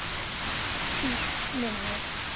Síst minni.